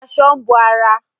Aṣọ ń bo ara